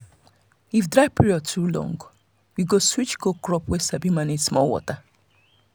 if dry period too long we go switch go crop wey sabi manage with small water.